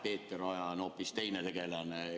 Peeter Oja on hoopis teine tegelane.